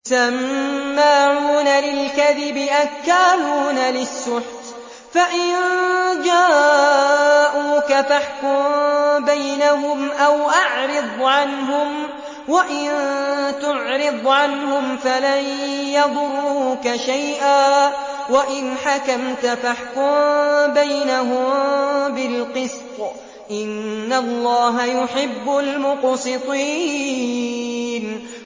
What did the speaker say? سَمَّاعُونَ لِلْكَذِبِ أَكَّالُونَ لِلسُّحْتِ ۚ فَإِن جَاءُوكَ فَاحْكُم بَيْنَهُمْ أَوْ أَعْرِضْ عَنْهُمْ ۖ وَإِن تُعْرِضْ عَنْهُمْ فَلَن يَضُرُّوكَ شَيْئًا ۖ وَإِنْ حَكَمْتَ فَاحْكُم بَيْنَهُم بِالْقِسْطِ ۚ إِنَّ اللَّهَ يُحِبُّ الْمُقْسِطِينَ